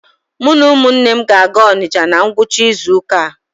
Mụ na ụmụnne m ga-aga Ọnịcha na ngwụcha izu ụka a.